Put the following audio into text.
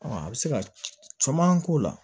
a bɛ se ka caman k'o la